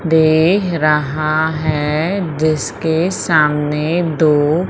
दे रहा है जिसके सामने दो--